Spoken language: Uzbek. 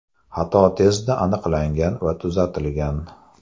Xato tezda aniqlangan va tuzatilgan.